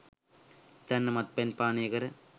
හිතන්න මත්පැන් පානය කර